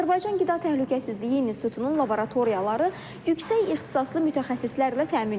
Azərbaycan Qida Təhlükəsizliyi İnstitutunun laboratoriyaları yüksək ixtisaslı mütəxəssislərlə təmin olunub.